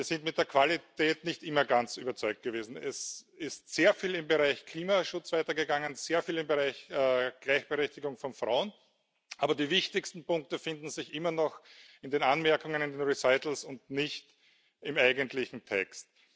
Wir sind mit der Qualität nicht immer ganz überzeugt gewesen. Es ist sehr viel im Bereich Klimaschutz weitergegangen, sehr viel im Bereich Gleichberechtigung von Frauen. Aber die wichtigsten Punkte finden sich immer noch in den Anmerkungen, in den Erwägungsgründen, und nicht im eigentlichen Text.